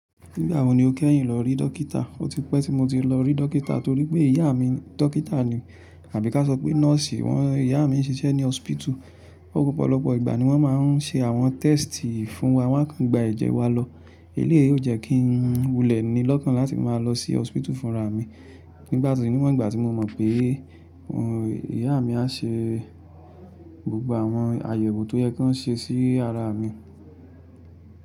Nígbà wo ni o kẹ́yìn lọ rí dọ́kítà? Ó ti pẹ́ tí mo ti lọ rí dọ́kítà torípẹ́ ìyá mi dọ́kítà ni. Àbí ka sọ pé nọ́ọ̀sì wọn ìyá mi ń ṣiṣẹ́ ní hospital. Ọ̀pọ̀lọpọ̀ ìgbà ni wọ́n máa ń ṣe àwọn test fún wa, wọ́n á kan gba ẹ̀jẹ̀ wa lọ. Eléyìí ó jẹ́ kí n wulẹ̀ ni lọ́kàn láti máa lọ sí hospital fúnra mi. Nígbà tí ni wọ́n ìgbà tí mo mọ̀ pé ìyá mi á ṣe gbogbo àwọn àyẹ̀wò tó yẹ kí wọ́n ṣe sí ara mi.